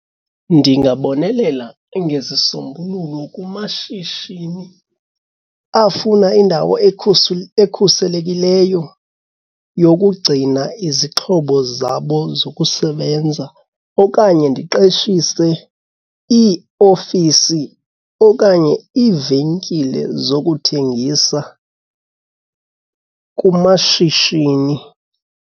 Ndingabonelela ngezisombululo kumashishini afuna indawo ekhuselekileyo yokugcina izixhobo zabo zokusebenza okanye ndiqeshise iiofisi okanye iivenkile zokuthengisa kumashishini.